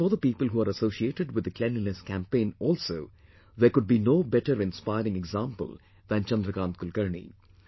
And for the people who are associated with the Cleanliness Campaign also, there could be no better inspiring example than Chandrakant Kulkarni